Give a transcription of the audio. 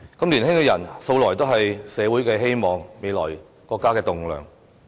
年輕人素來是社會的希望、國家未來的棟樑。